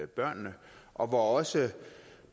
børnene og hvor også